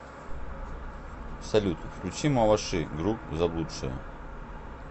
салют включи маваши груп заблудшие